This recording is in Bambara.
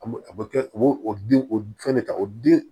An b'o a bɛ kɛ u bɛ o den o fɛn ne ta o den